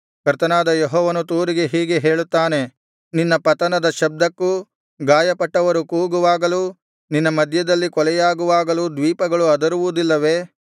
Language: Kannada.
ಕರ್ತನಾದ ಯೆಹೋವನು ತೂರಿಗೆ ಹೀಗೆ ಹೇಳುತ್ತಾನೆ ನಿನ್ನ ಪತನದ ಶಬ್ದಕ್ಕೂ ಗಾಯಪಟ್ಟವರು ಕೂಗುವಾಗಲೂ ನಿನ್ನ ಮಧ್ಯದಲ್ಲಿ ಕೊಲೆಯಾಗುವಾಗಲೂ ದ್ವೀಪಗಳು ಅದರುವುದಿಲ್ಲವೇ